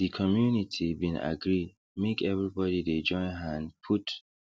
the community been agree make everybody de join hand put